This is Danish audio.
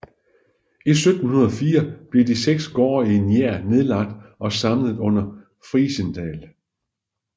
I 1704 blev de seks gårde i Njær nedlagt og samlet under Frijsendal